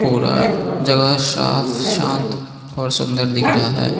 पूरा जगह साफ शांत और सुंदर दिख रहा है।